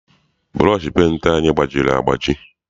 Bụrọshị penti anyị gbajiri agbaji.